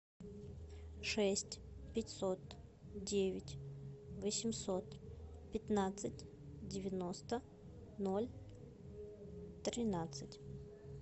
шесть пятьсот девять восемьсот пятнадцать девяносто ноль тринадцать